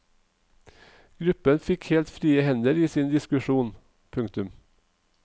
Gruppen fikk helt frie hender i sin diskusjon. punktum